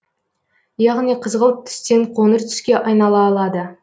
яғни қызғылт түстен қоңыр түске айнала алады